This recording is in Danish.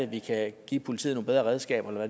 vi kan give politiet nogle bedre redskaber eller